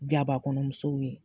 Gaba kɔnɔ musow ye